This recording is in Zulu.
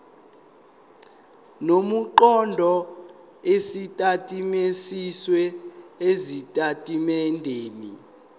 nemiqondo esetshenzisiwe ezitatimendeni